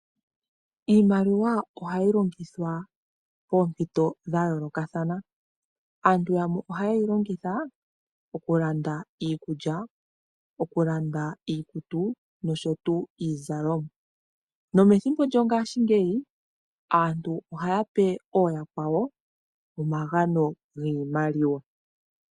Iimaliwa ohayi longithwa poompito dha yoolokathana, aantu yamwe oha yeyi longitha okulanda iikulya, okulanda iikutu nosho tuu iizalomwa. Nomethimbo lyongaashingeyi aantu ohaya pe ooyakwawo omagano giimaliwa.